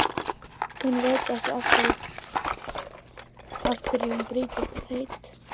Hún veit ekki af hverju hún brýtur það heit.